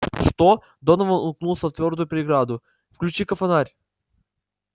что донован уткнулся в твёрдую преграду включи-ка фонарь